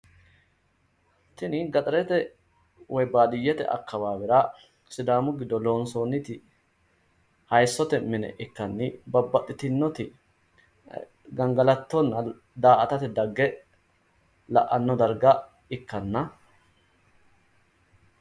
Tini gaxarete woyi baadiyyete akkawaawera sidaamu giddo loonsoonniti hayissote mine ikkanni babbaxxitinnoti gangalattote